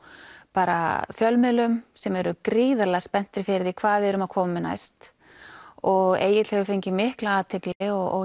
bara fjölmiðlum sem eru gríðarlega spenntir fyrir hvað við erum að koma með næst og Egill hefur fengið mikla athygli